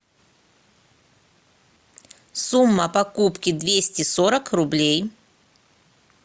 сумма покупки двести сорок рублей